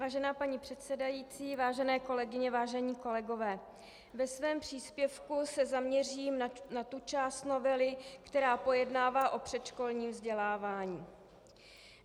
Vážená paní předsedající, vážené kolegyně, vážení kolegové, ve svém příspěvku se zaměřím na tu část novely, která pojednává o předškolním vzdělávání.